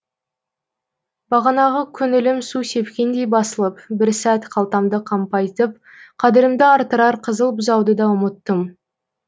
бағанағы көңілім су сепкендей басылып бір сәт қалтамды қампайтып қадірімді арттырар қызыл бұзауды да ұмыттым